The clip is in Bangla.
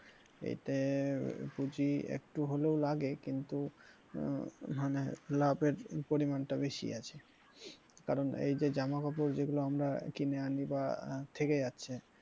এতে পুজি একটু হলেও লাগে কিন্তু আহ মানে লাভ এর পরিমাণ টা বেশি আছে কারন এইযে জামা কাপড় যেগুলো আমরা কিনে আনি বা থেকে যাচ্ছে,